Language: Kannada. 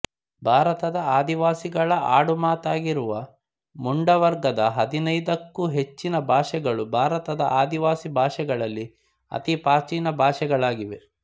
ಭಾರತದ ಆದಿವಾಸಿಗಳ ಆಡುಮಾತಾಗಿರುವ ಮುಂಡ ವರ್ಗದ ಹದಿನೈದಕ್ಕೂ ಹೆಚ್ಚಿನ ಭಾಷೆಗಳು ಭಾರತದ ಆದಿವಾಸಿ ಭಾಷೆಗಳಲ್ಲಿ ಅತಿ ಪ್ರಾಚೀನ ಭಾಷೆಗಳಾಗಿವೆ